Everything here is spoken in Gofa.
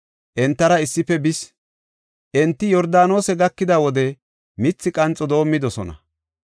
Entara issife bis. Enti Yordaanose gakida wode mithi qanxo doomidosona.